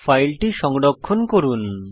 ফাইলটি সংরক্ষণ করুন